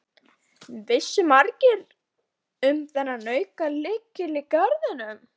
Vissu margir um þennan aukalykil í garðinum?